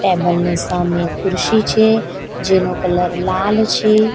Table ની સામે ખુરશી છે. જેનો કલર લાલ છે.